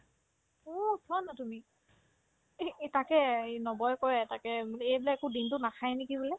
অ', চোৱা না তুমি এহ্ এ তাকে এই নৱই কই এটাকে বুলি এইবিলাক আকৌ দিনতোত নাখাই নেকি বোলে